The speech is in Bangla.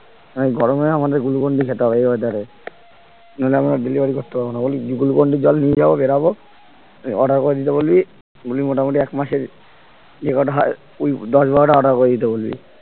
এই গরমে আমাদের glucon d খেতে হবে এই weather এ নাহলে আমরা delivery করতে পারবো না বল glucon d জল নিয়ে যাবো বেড়াবো তুই order করে দিতে বলবি বলবি মোটামুটি একমাসের যে কটা হয় দশ বারোটা order করে দিতে বলবি